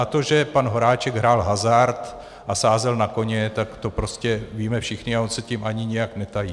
A to, že pan Horáček hrál hazard a sázel na koně, tak to prostě víme všichni a on se tím ani nijak netají.